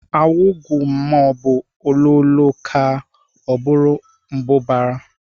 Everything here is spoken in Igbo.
Awigu maọbụ ololoo kaa, ọ bụrụ mbụbara